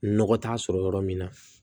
Nɔgɔ t'a sɔrɔ yɔrɔ min na